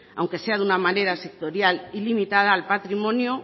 aunque sea de una manera sectorial y limitada el patrimonio